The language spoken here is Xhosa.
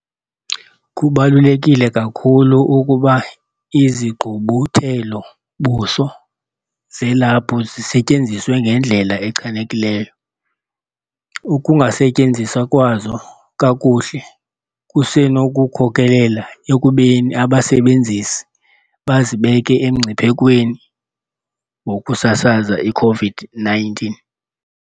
Kubaluleke kakhulu ukuba izigqubuthelo-buso zelaphu zisetyenziswe ngendlela echanekileyo. Ukungasetyenziswa kwazo kakuhle kusenokukhokelela ekubeni abasebenzisi bazibeke emngciphekweni wokusasaza i-COVID-19 .